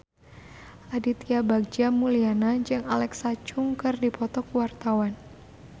Aditya Bagja Mulyana jeung Alexa Chung keur dipoto ku wartawan